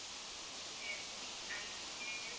SBIN